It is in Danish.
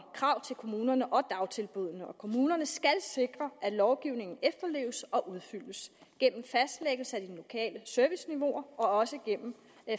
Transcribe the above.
og krav til kommunerne og dagtilbud kommunerne skal sikre at lovgivningen efterleves og udfyldes gennem fastlæggelse af de lokale serviceniveauer og gennem